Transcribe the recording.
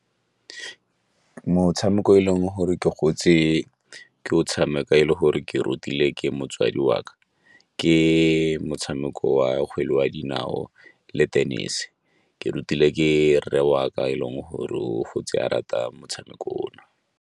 Motshameko o e leng gore ke gotse ke o tshameka e le gore ke rutile ke motsadi wa ka ke motshameko wa kgwele ya dinao le tennis. Ke rutile ke rre wa ka e leng gore o gotse a rata motshameko ono.